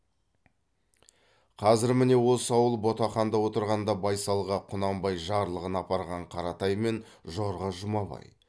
қазір міне осы ауыл ботақанда отырғанда байсалға құнанбай жарлығын апарған қаратай мен жорға жұмабай